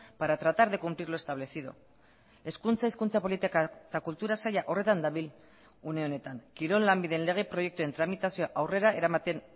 para tratar de cumplir lo establecido hezkuntza hizkuntza politika eta kultura saila horretan dabil une honetan kirol lanbideen lege proiektuen tramitazioa aurrera eramaten